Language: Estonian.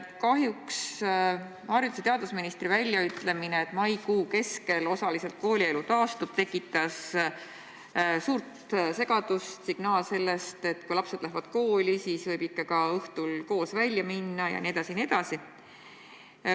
Kahjuks tekitas haridus- ja teadusministri väljaütlemine, et maikuu keskel osaliselt koolielu taastub, suurt segadust – signaal sellest, et kui lapsed lähevad kooli, siis võib ikka ka õhtul koos välja minna jne, jne.